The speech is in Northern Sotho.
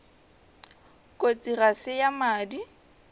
kotsi ga se ya madi